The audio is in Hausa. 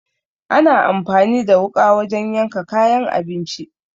Ana anfani da wuƙa wajen yanka kayan abinci.